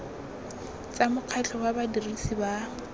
tsa mokgatlho wa badirisi ba